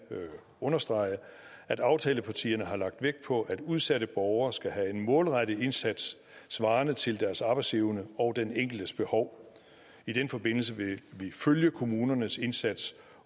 understrege at aftalepartierne har lagt vægt på at udsatte borgere skal have en målrettet indsats svarende til deres arbejdsevne og den enkeltes behov i den forbindelse vil vi følge kommunernes indsats